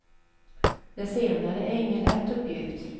Det senare är ingen lätt uppgift.